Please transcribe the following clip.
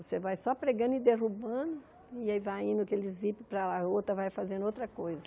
Você vai só pregando e derrubando, e aí vai indo aquele ziper para lá a outra, vai fazendo outra coisa.